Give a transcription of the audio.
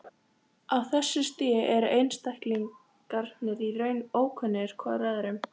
Á þessu stigi eru einstaklingarnir í raun ókunnugir hvor öðrum.